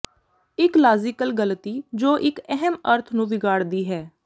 ਇੱਕ ਲਾਜ਼ੀਕਲ ਗਲਤੀ ਜੋ ਇੱਕ ਅਹਿਮ ਅਰਥ ਨੂੰ ਵਿਗਾੜਦੀ ਹੈ